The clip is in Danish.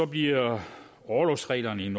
bliver orlovsreglerne i